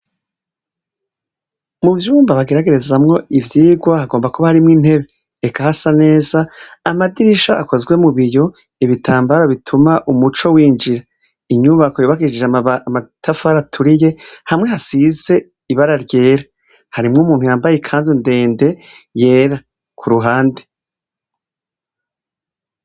Mu vyumba bageragerezamwo ivyirwa hagomba kuba harimwo intebe eka hasa neza amadirisha akozwe mu biyo ibitambaro bituma umuco winjira inyubako yobakisije amatafaraturiye hamwe hasize ibara ryera harimwo umuntu yambaye, kandi undende yera ku ruhande.